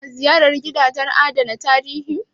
Ka na ziyarar gidajen adana tarihi?